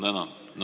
Tänan!